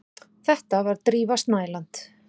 Þetta var Drífa Snædal.